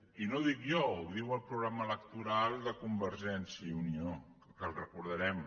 i no ho dic jo ho diu el programa electoral de convergència i unió que el recordarem